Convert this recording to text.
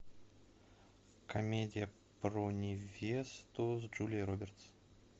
комедия про невесту с джулией робертс